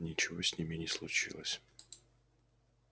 ничего с ними не случилось